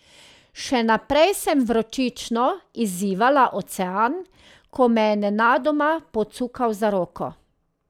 Še naprej sem vročično izzivala ocean, ko me je nenadoma pocukal za roko.